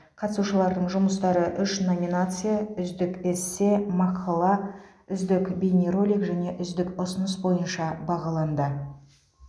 қатысушылардың жұмыстары үш номинация үздік эссе мақала үздік бейнеролик және үздік ұсыныс бойынша бағаланды